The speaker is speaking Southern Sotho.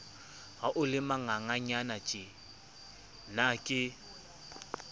ha o le manganganyanatjena ke